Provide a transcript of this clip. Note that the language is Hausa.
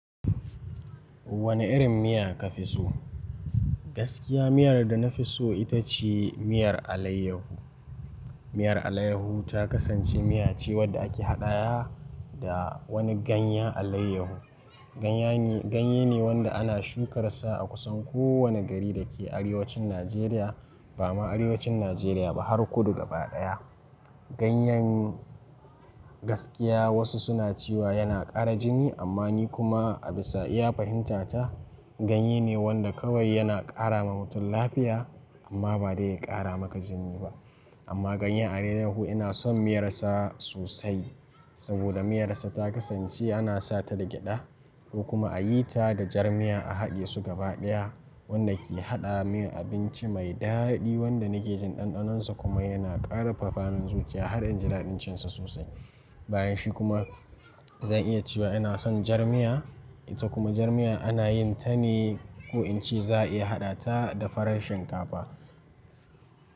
Wane irin miya ka fi so? Gaskiya miyar da na fi so ita ce miyar alayyahu. Miyar alayyahu ta kasance miya ce wadda ake haɗa wa da wani ganyen alayyahu. Ganye ne wanda ana shukar sa a kusan kowane gari da ke arewacin Najeriya, ba ma arewacin Najeriya ba har kudu gaba ɗaya. Ganyen, gaskiya wasu suna cewa yana ƙara jini, amma ni kuma a bisa iya fahimta ta, ganye ne wanda kawai yana ƙara ma mutum lafiya, amma ba dai ya ƙara maka jini ba. Amma ganyen alayyahu ina son miyar sa sosai, saboda miyar sa ta kasance ana sa ta da gyaɗa, ko kuma a yi ta da jar miya a haɗe su gaba ɗaya, wanda ke haɗa min abinci mai daɗi wanda nake jin ɗanɗanonsa kuma yana ƙarfafa min zuciya har inji daɗin cinsa sosai. Bayan shi kuma zan iya cewa ina son jar miya. Ita kuma jar miya ana yin ta ne, ko in ce za'a iya haɗa ta da farar shinkafa.